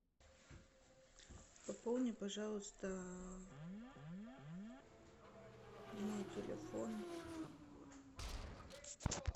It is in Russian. пополни пожалуйста мой телефон